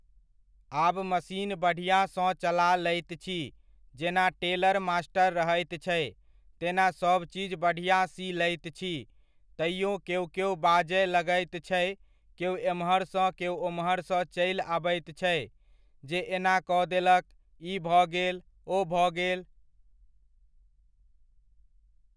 आब मशीन बढ़ीआँ सँ चला लैत छी जेना टेलर मास्टर रहैत छै, तेना सभचीज बढ़िआँ सी लैत छी, तैओ केओ केओ बाजय लागैत छै, केओ एम्हरसँ केओ ओम्हरसँ चलि आबैत छै, जे एना कऽ देलक ई भऽ गेल ओ भऽ गेल।